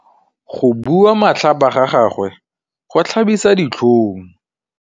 Go bua matlhapa ga gagwe go tlhabisa ditlhong.